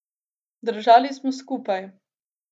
Držali smo skupaj.